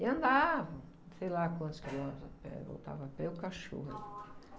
E andavam, sei lá quantos quilômetros a pé, voltava a pé, e o cachorro alí.